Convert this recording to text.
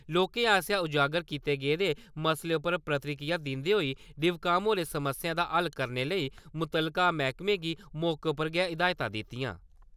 लोकें आसेआ उजागर कीते गेदे मसले उप्पर प्रतिक्रिया दिन्दे होई डीव.काम. होरें समस्याएं दा हल करने लेई मुत्तलका मैह्कमें गी मौके उप्पर गै हिदायतां दित्तियां ।